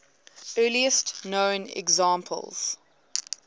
earliest known examples